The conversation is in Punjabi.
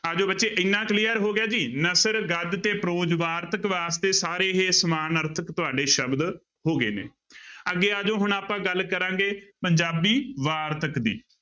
ਆ ਜਾਓ ਬੱਚੇ ਇੰਨਾ clear ਹੋ ਗਿਆ ਜੀ ਨਸਰ, ਗਦ ਤੇ prose ਵਾਰਤਕ ਵਾਸਤੇ ਸਾਰੇ ਹੀ ਸਮਾਨਾਰਥਕ ਤੁਹਾਡੇ ਸ਼ਬਦ ਹੋ ਗਏ ਨੇ ਅੱਗੇ ਆ ਜਾਓ ਹੁਣ ਆਪਾਂ ਗੱਲ ਕਰਾਂਗੇ ਪੰਜਾਬੀ ਵਾਰਤਕ ਦੀ।